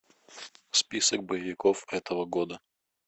список боевиков этого года